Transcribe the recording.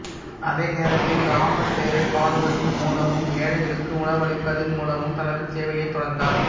அதே நேரத்தில் இராமர் பெயரைக் பாடுவதின் மூலமும் ஏழைகளுக்கு உணவளிப்பதன் மூலமும் தனது சேவையைத் தொடர்ந்தார்